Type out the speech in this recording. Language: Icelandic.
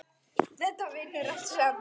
Þetta vinnur allt saman.